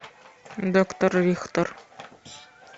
доктор рихтер